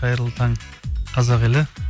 қайырлы таң қазақ елі